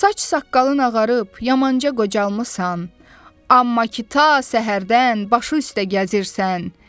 Saç saqqalın ağarıb, yamanca qocalmısan, amma ki, ta səhərdən başı üstə gəzirsən.